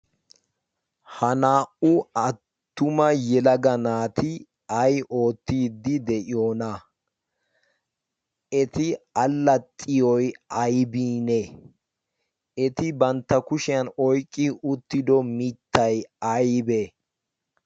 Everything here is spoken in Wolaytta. ha naa77u attuma yelaga naati ai oottiiddi de7iyoona? eti allaxxiyoi aibiinee ?eti bantta kushiyan oiqqi uttido mittai aibee?